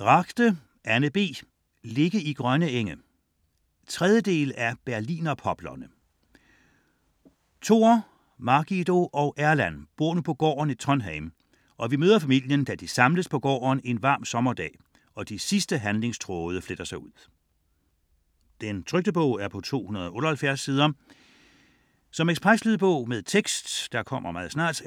Ragde, Anne B.: Ligge i grønne enge 3. del af: Berlinerpoplerne. Tor, Margido og Erland bor nu på gården i Trondheim, og vi møder familien, da de samles på gården en varm sommerdag, og de sidste handlingstråde fletter sig ud. 2008, 278 sider. Lydbog med tekst 17981